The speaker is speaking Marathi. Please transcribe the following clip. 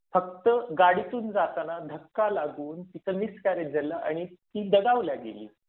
फक्त गाडीतून जाताना धक्का लागून तिचा मिसकॅरेज झालं आणि ती दगावली गेली.